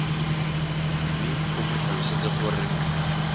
mme o mo tlhalosetse gore